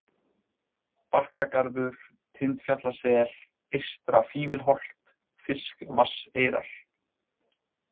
Bakkagarður, Tindfjallasel, Eystra-Fífilholt, Fiskvatnseyrar